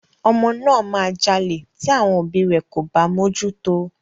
Ọmọ náà máa jalè tí àwọn òbíi rẹ̀ kò bá mójú tó o.